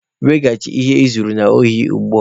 Weghachi ihe I zuru n'ohi ugbua!